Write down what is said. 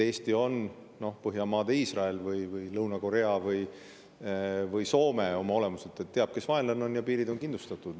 Eesti on Põhjamaade Iisrael või Lõuna-Korea või Soome oma olemuselt: teab, kes on vaenlane, ja piirid on kindlustatud.